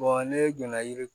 ne donna yiri